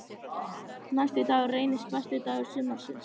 Næsti dagur reynist besti dagur sumarsins.